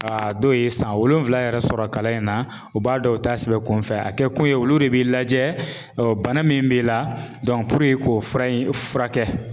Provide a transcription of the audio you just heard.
A dɔw ye san wolonwula yɛrɛ sɔrɔ kalan in na u b'a dɔn u t'a sɛbɛn kunfɛ a kɛ kun ye olu de b'i lajɛ bana min b'i la k'o fura in fura kɛ.